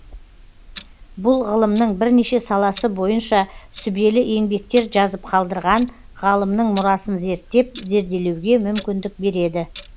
бұл ғылымның бірнеше саласы бойынша сүбелі еңбектер жазып қалдырған ғалымның мұрасын зерттеп зерделеуге мүмкіндік береді